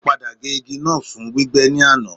Kò pàpà gé igi náà fún gbígbẹ́ ní àná.